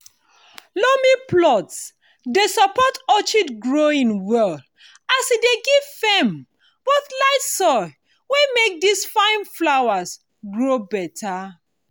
loamy plot dey support orchid growing well as e give firm but light soil wey make these fine flowers grow better.